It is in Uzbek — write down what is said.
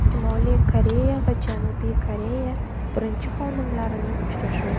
Shimoliy Koreya va Janubiy Koreya birinchi xonimlarining uchrashuvi .